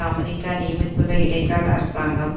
America நியமித்துள்ள இடைக்கால அரசாங்கம்